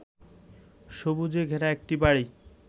সবুজে ঘেরা একটি বাড়ি